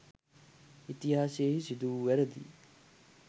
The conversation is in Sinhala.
ඉතිහාසයෙහි සිදුවූ වැරදි